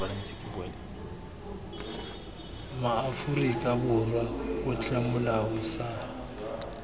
maaforika borwa otlhe molao sa